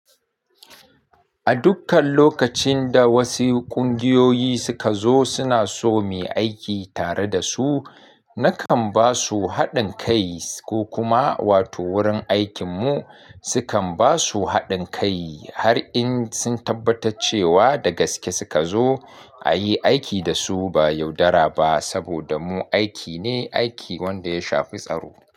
A dukkan lokacin da wasu ƙungiyoyi suka zo suna so mu yi aiki tare da su, na kan ba su haɗin kai ko kuma wato wurin aikin mu su kan ba su haɗin kai har in sun tabbata cewa da gaske suka zo a yi aiki da su ba yaudara ba. Saboda mu aiki ne, aiki wanda ya shafi tsaro.